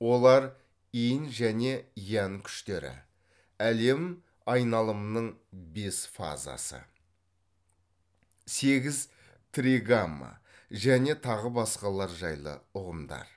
олар инь және янь күштері әлем айналымының бес фазасы сегіз тригамма және тағы басқалар жайлы ұғымдар